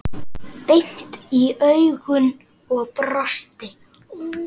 Beint í augun og brosti.